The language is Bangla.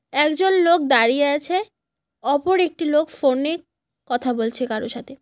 একজন লোক দাঁড়িয়ে আছে অপর একটি লোক ফোনে কথা বলছে কারো সাথে।